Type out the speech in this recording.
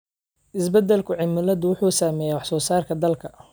Isbeddelka cimiladu wuxuu saameeyaa wax soo saarka dalagga.